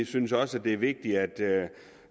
synes også at det er vigtigt at